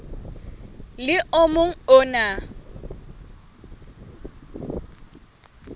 le o mong o na